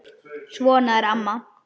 Svona er amma.